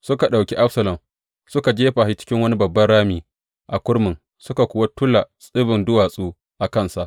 Suka ɗauki Absalom, suka jefa shi cikin wani babban rami a kurmin, suka kuwa tula tsibin duwatsu a kansa.